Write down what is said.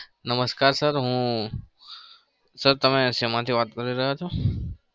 નમસ્કાર sir હું sir તમે શેમાંથી વાત કરી રહ્યા છો?